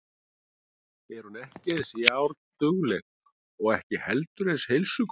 En hún er ekki eins járndugleg og ekki heldur eins heilsugóð.